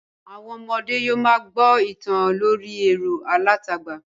Àwọn ọmọdẹ́ yóò ma gbọ́ ìtàn lórí ẹ̀rọ alátagbà